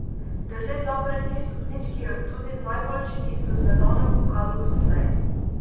Deset zaporednih stopničk je tudi najboljši niz v svetovnem pokalu doslej.